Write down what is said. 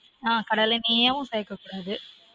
on கடலெண்ணேயும் சேர்க்க கூடாது